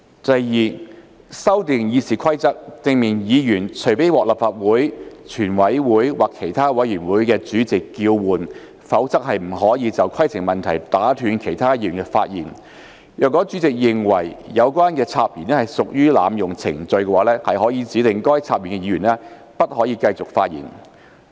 第二，修訂《議事規則》，訂明議員除非獲立法會、全委會或其他委員會的主席叫喚，否則不得就規程問題打斷其他議員的發言；若主席認為有關的插言屬濫用程序，可指示該插言議員不得繼續發言。